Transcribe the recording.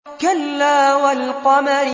كَلَّا وَالْقَمَرِ